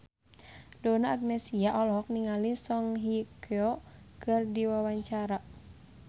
Donna Agnesia olohok ningali Song Hye Kyo keur diwawancara